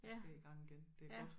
Jeg skal i gang igen det er godt